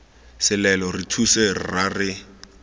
selelo re thuse rra re